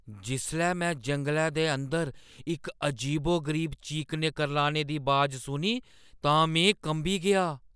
जिसलै मैं जंगलै दे अंदर इक अजीबो-गरीब चीकने-करलाने दी अवाज सुनी तां में कंबी गेआ।